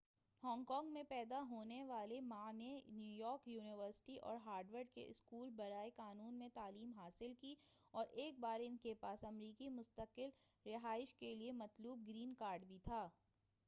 Hong Kong میں پیدا ہونے والے ما نے نیویارک یونیورسٹی اور ہارورڈ کے اسکول برائے قانون میں تعلیم حاصل کی اور ایک بار ان کے پاس امریکی مستقل رہائش کیلئے مطلوب گرین کارڈ بھی تھا